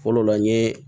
Fɔlɔ la n ye